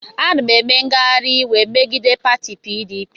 Ana m eme ngagharị iwe megide pati PDP.